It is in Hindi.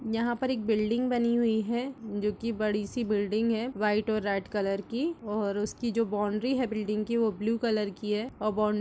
यहाँ पर एक बिल्डिंग बनी हुई है। जो कि बड़ी सी बिल्डिंग है। व्हाइट और रेड कलर की और उसकी जो बाउंड्री है बिल्डिंग की वो ब्लू कलर की है। और बाउंड्री --